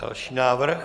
Další návrh.